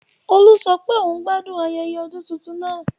Olú sọ pé òun gbádùn ayẹyẹ ọdún tuntun náà